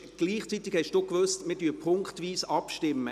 Gleichzeitig haben Sie gewusst, dass wir punktweise abstimmen.